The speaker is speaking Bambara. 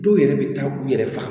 Dɔw yɛrɛ bɛ taa u yɛrɛ faga